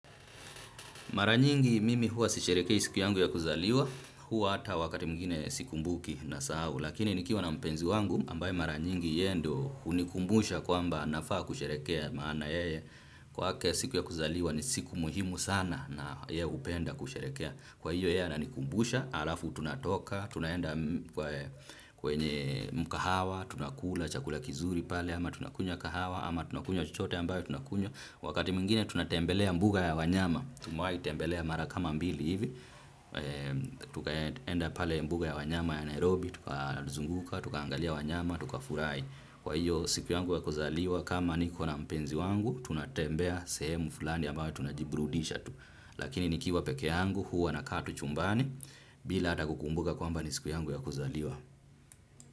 Maranyingi mimi hua sisherehekei siku yangu ya kuzaliwa, hua hata wakati mwingine siku mbuki na sahau, lakini nikiwa na mpenzi wangu ambaye maranyingi yeye ndio hunikumbusha kwamba nafaa kusherehekea maana yeye kwake siku ya kuzaliwa ni siku muhimu sana na yeye hupenda kusherehekea. Kwa hiyo yeye ananikumbusha, halafu tunatoka, tunaenda kwenye mkahawa, tunakula, chakula kizuri pale, ama tunakunywa kahawa, ama tunakunywa chochote ambayo tunakunywa. Wakati mwingine tunatembelea mbuga ya wanyama, tumewahi tembelea marakama mbili hivi, tukaenda pale mbuga ya wanyama ya Nairobi, tukazunguka, tukaangalia wanyama, tuka furahi. Kwa hiyo siku yangu ya kuzaliwa kama ni kona mpenzi wangu. Tunatembea sehemu fulani ambayo tunajibrudisha tu. Lakini ni kiwa peke yangu huwa na kaa tu chumbani. Bila hatakukumbuka kwamba ni siku yangu ya kuzaliwa.